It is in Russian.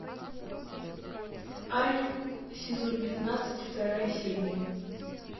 альф сезон пятнадцать вторая серия